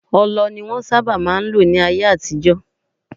Ọlọ ni wọnsábà má n lò ní ayé àtijọ́.